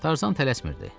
Tarzan tələsmirdi.